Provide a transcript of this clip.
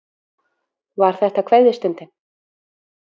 Var þetta kveðjustundin?